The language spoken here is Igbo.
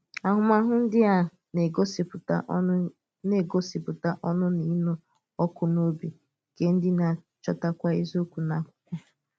Áhù̀máhụ̀ dị àṅàa n’ègòsìpùtà ọ̀ṅụ̀ n’ègòsìpùtà ọ̀ṅụ̀ na ịnụ̀ ọkụ̀ n’òbì nke ndí na-achọ̀tà eziokwu n’akwụkwọ?